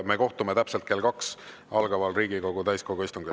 Me kohtume täpselt kell 14 algaval Riigikogu täiskogu istungil.